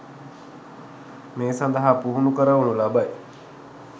මේ සඳහා පුහුණු කරවනු ලබයි